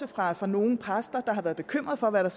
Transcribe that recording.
fra fra nogle præster der har været bekymret for hvad der